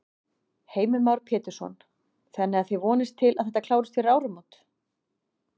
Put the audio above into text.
Heimir Már Pétursson: Þannig að þið vonist til að þetta klárist fyrir áramót?